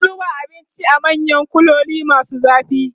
an zuba abinci a manyan kuloli masu zafi